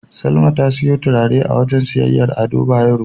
Salma ta siyo turare a wajen siyayyar Ado Bayero.